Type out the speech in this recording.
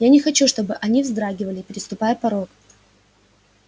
я не хочу чтобы они вздрагивали переступая порог